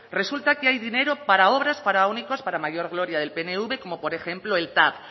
resulta que hay dinero para obras faraónicas para mayor gloria del pnv como por ejemplo el tav